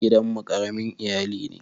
Gidan mu ƙaramin iyali ne.